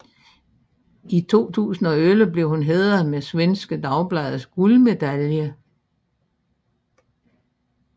I 2011 blev hun hædret med Svenska Dagbladets guldmedalje